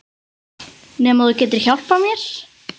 Nema þú getir hjálpað mér